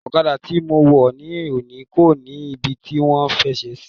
Ọ̀kadà tí mo wọ̀ ni òní kò ní ibi tí à ń fẹsẹ̀ sí.